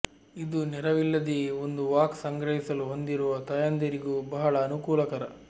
ಇದು ನೆರವಿಲ್ಲದೆಯೇ ಒಂದು ವಾಕ್ ಸಂಗ್ರಹಿಸಲು ಹೊಂದಿರುವ ತಾಯಂದಿರಿಗೂ ಬಹಳ ಅನುಕೂಲಕರ